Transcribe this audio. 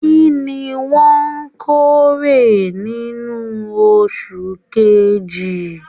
Kínní wọn k'ore nínú oṣù kejì?